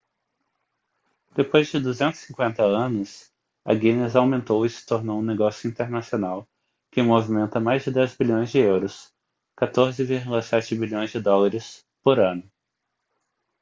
depois de 250 anos a guinness aumentou e se tornou um negócio internacional que movimenta mais de 10 bilhões de euros 14,7 bilhões de dólares por ano